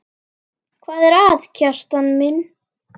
Hvað er að, Kjartan minn?